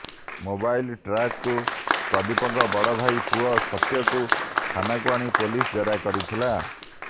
mobile ଟ୍ରାକ୍ରୁ ପ୍ରଦୀପଙ୍କ ବଡ଼ ଭାଇ ପୁଅ ସତ୍ୟକୁ ଥାନାକୁ ଆଣି ପୋଲିସ ଜେରା କରିଥିଲା